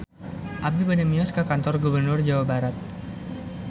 Abi bade mios ka Kantor Gubernur Jawa Barat